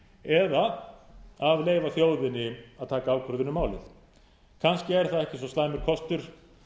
eða að leyfa þjóðinni að taka ákvörðun um málið kannski er það ekki svo slæmur kostur